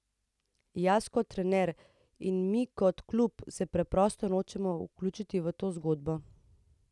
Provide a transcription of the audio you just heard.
Jaz kot trener in mi kot klub se preprosto nočemo vključiti v to zgodbo.